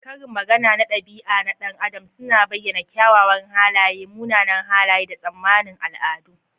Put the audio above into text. Karin magana na ɗabi'a na ɗan adam suna bayyana kyawawan halaye, munanan halaye, da tsammanin al'adu.